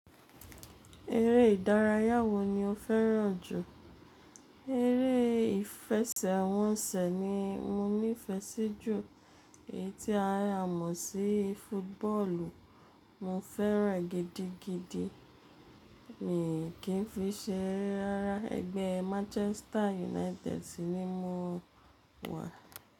Eré ìdárayá wo ni o fẹ́ràn jù? Eré ìfẹsẹ̀wọnsẹ̀ ni mo nífẹsí jù, èyí tí a mọ̀ sí footballu, mo fẹ́ràn e gidi gidi, mi kí n fi ṣe eré ara, ẹgbẹ́ Manchester United ni mo wà.